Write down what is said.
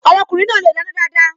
Ọmọkùnrin náà le dáná dáadáa.